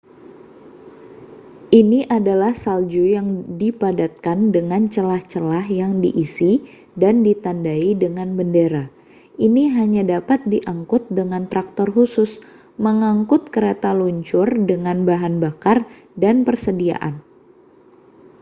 ini adalah salju yang dipadatkan dengan celah-celah yang diisi dan ditandai dengan bendera ini hanya dapat diangkut dengan traktor khusus mengangkut kereta luncur dengan bahan bakar dan persediaan